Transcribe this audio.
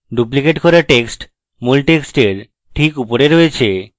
duplicate text মূল টেক্সটের ঠিক উপরে রয়েছে